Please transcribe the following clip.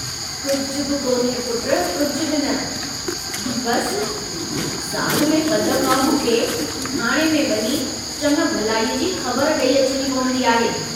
कुझ बि कोन्हे पुट कुझु बि न... बस... साल में ब दफ़ा मूंखे थाणे में वञी चङ भलाईअ जी ख़बर डेई अचणी पवन्दी आहे।